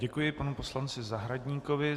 Děkuji panu poslanci Zahradníkovi.